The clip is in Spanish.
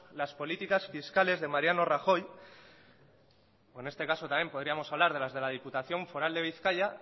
las políticas fiscales de mariano rajoy o en este caso también podríamos hablar de las de diputación foral de bizkaia